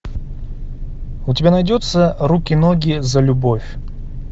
у тебя найдется руки ноги за любовь